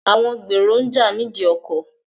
Àwọn gbèrò ń jà ní ìdí ọkọ̀.